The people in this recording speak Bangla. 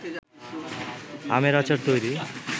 আমের আচার তৈরি